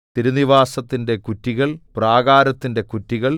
തിരുനിവാസത്തിന്റെ കുറ്റികൾ പ്രാകാരത്തിന്റെ കുറ്റികൾ